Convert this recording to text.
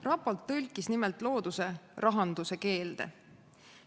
Raport tõlkis nimelt looduse rahanduse keelde.